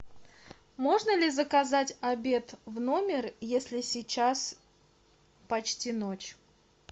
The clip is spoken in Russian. можно ли заказать обед в номер если сейчас почти ночь